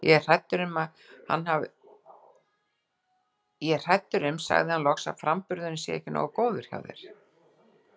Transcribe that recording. Ég er hræddur um sagði hann loks, að framburðurinn sé ekki nógu góður hjá þér